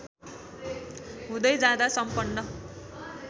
हुँदै जाँदा सम्पन्न